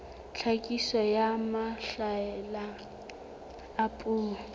tlhakiso ya mahlale a puo